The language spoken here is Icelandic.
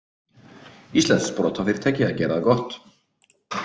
Íslenskt sprotafyrirtæki að gera það gott